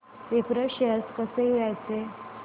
Wipro shares कसे घ्यायचे